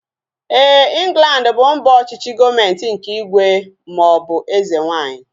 Éè, Inglandi bụ mba ọchịchị gọọmenti nke ígwè maọbụ eze nwaanyị